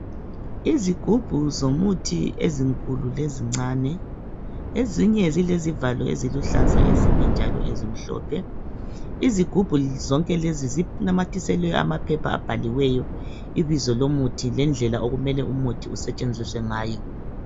Izigubhu zomuthi ezinkulu lezincane ezinye zilezivalo eziluhlaza ezinye njalo ezimhlophe. Izigubhu zonke lezi zinamathiselwe amaphepha abhaliweyo ibizo lomuthi lendlela umuthi okumele usetshenziswe ngayo.